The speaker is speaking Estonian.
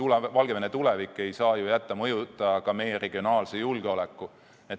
Üldse Valgevene tulevik ei saa jätta mõjutamata ka meie regionaalset julgeolekut.